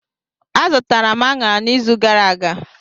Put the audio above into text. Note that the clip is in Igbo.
Azụtara m anara n'izu gara aga.